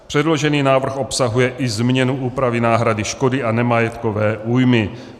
Předložený návrh obsahuje i změnu úpravy náhrady škody a nemajetkové újmy.